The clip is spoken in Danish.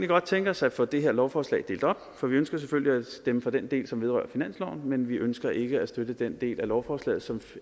godt tænke os at få det her lovforslag delt op for vi ønsker selvfølgelig at stemme for den del som vedrører finansloven men vi ønsker ikke at støtte den del af lovforslaget som